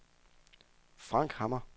Frank Hammer